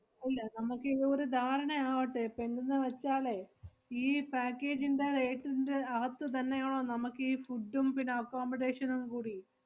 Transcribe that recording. അഹ് ഇല്ല നമ്മക്ക് ഒരു ധാരണ ആവട്ടെ. ~പ്പ എന്ത്ന്ന് വെച്ചാലേ, ഈ package ന്‍റെ rate ന്‍റെ അകത്ത്ത ന്നെയാണോ നമ്മക്കീ food ഉം പിന്നെ accomodation ഉം കൂടി.